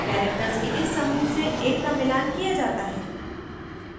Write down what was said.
characters के इस समूह से एक का मिलान किया जाता है